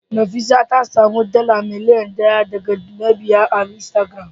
Nefisat ta samu dala miliyan daya daga mabiya a Instagram